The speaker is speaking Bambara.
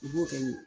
U b'o kɛ nin ye